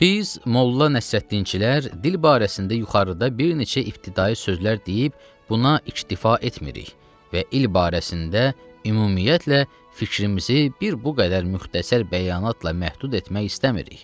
Biz Molla Nəsrəddinçilər dil barəsində yuxarıda bir neçə ibtidai sözlər deyib, buna iştifa etmirik və il barəsində ümumiyyətlə fikrimizi bir bu qədər müxtəsər bəyanatla məhdud etmək istəmirik.